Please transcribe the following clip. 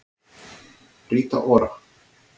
Rita Ora